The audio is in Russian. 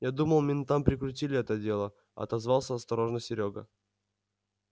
я думал ментам прикрутили это дело отозвался осторожно серёга